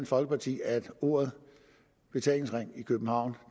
folkeparti at ordet betalingsring i københavn